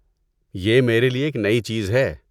یہ میرے لیے ایک نئی چیز ہے۔